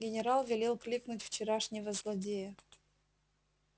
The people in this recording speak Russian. генерал велел кликнуть вчерашнего злодея